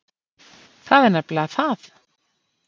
Það er nefnilega það.